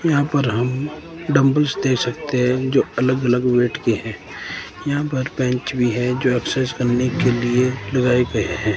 यहां पर हम डम्बल्स देख सकते हैं जो की अलग अलग वेट के हैं यहां पे बेंच भी है जो एक्सरसाइज करने के लिए लगाए गए हैं।